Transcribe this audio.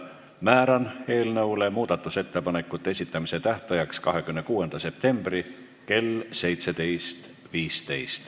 Määran eelnõu muudatusettepanekute esitamise tähtajaks 26. septembri kell 17.15.